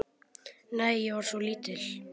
Nei, ég var svo lítil.